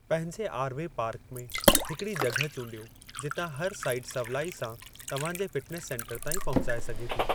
पंहिंजे R V park में हिकड़ी जॻहि चूंडियो जितां हरु साईट सवलाई सां तव्हां जे फ़िटनेस सेंटर ताईं पहुचाए सघे थी।